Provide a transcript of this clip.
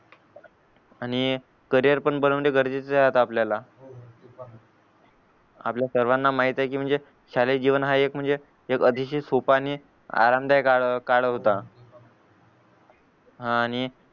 आणि करिअर पण बनवणं गरजेचं आहे आता आपल्याला सर्वाना माहित की म्हणजे शालेय जीवन हा एक अतिशय सोपा आणि आरामदायक काळ होता हां आणि